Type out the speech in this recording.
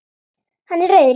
Hann er rauður í framan.